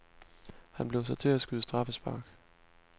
Han blev sat til at skyde straffespark.